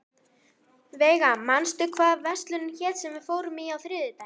Veiga, manstu hvað verslunin hét sem við fórum í á þriðjudaginn?